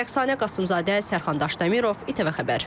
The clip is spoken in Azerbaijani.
Rəqsanə Qasımzadə, Sərxandaş Dəmirov, İTV Xəbər.